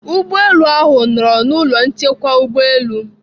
Ụgbọelu ahụ nọrọ na ụlọ nchekwa ụgbọelu.